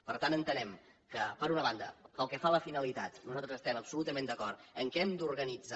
per tant entenem que per una banda pel que fa a la finalitat nosaltres estem absolutament d’acord que hem d’organitzar